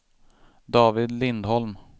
David Lindholm